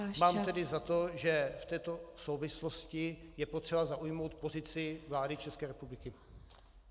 Mám tedy za to, že v této souvislosti je potřeba zaujmout pozici vlády České republiky.